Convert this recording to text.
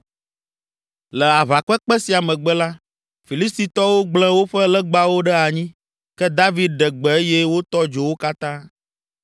Le aʋakpekpe sia megbe la, Filistitɔwo gblẽ woƒe legbawo ɖe anyi, ke David ɖe gbe eye wotɔ dzo wo katã.